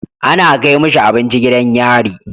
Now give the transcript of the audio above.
Ana Kai mishi abinci gidan yari